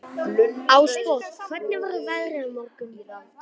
Ásborg, hvernig verður veðrið á morgun?